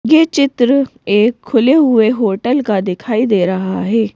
यह चित्र एक खुले हुए हॉटेल का दिखाई दे रहा है।